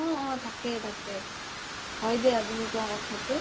অ অ তাকেই তাকেই হয় দিয়া তুমি কুৱা কথাতো